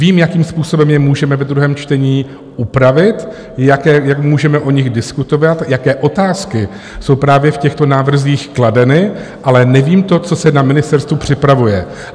Vím, jakým způsobem je můžeme ve druhém čtení upravit, jak můžeme o nich diskutovat, jaké otázky jsou právě v těchto návrzích kladeny, ale nevím to, co se na ministerstvu připravuje.